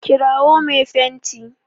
kirawo me fenti!